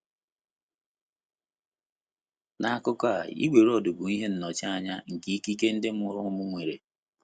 N’akụkụ a, igwe roọdụ bụ ihe nnọchianya nke ikike ndị mụrụ ụmụ nwere.